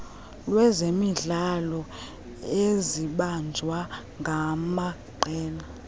lwezemidlalo ezibanjwa ngamaqela